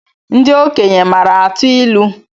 Ndị okenye maara atụ ilu